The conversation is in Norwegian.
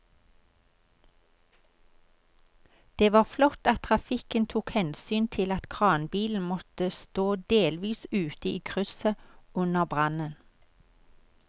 Det var flott at trafikken tok hensyn til at kranbilen måtte stå delvis ute i krysset under brannen.